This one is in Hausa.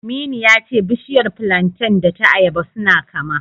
Aminu ya ce bishiyar filanten da ta ayaba suna kama.